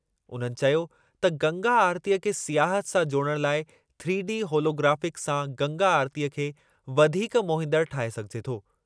उन्हनि चयो त गंगा आरतीअ खे सियाहत सां जोड़णु लाइ थ्रीडी होलोग्राफिक सां गंगा आरतीअ खे वधीक मोहींदड़ु ठाहे सघिजे थो।